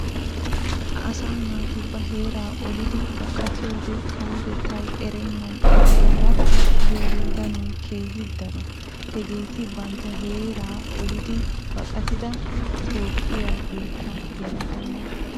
Asaa naati ba heeraa olidi baqatiyode kawotettay erenna ogiyaara biyode danoy keehin daro. Hageeti bantta heeraa olidi baqqatida toophphiyaa biittaa yelaga naata.